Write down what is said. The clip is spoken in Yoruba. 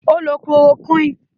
Ó lo kíloroquine.